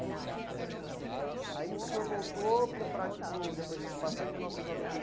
É. Aí o senhor voltou para o para aqui, para o depois desse passeio, em mil novecentos e noventa e